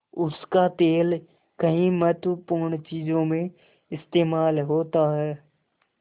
उसका तेल कई महत्वपूर्ण चीज़ों में इस्तेमाल होता है